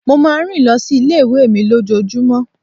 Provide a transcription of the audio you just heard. Mo máa ń rìn lọ sí ilé ìwé mi lójoojúmó.